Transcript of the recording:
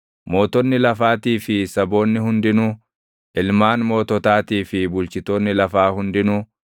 mootonni lafaatii fi saboonni hundinuu, ilmaan moototaatii fi bulchitoonni lafaa hundinuu,